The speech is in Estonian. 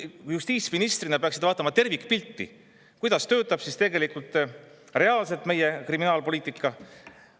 Te justiitsministrina peaksite vaatama tervikpilti, kuidas tegelikult töötab meie kriminaalpoliitika.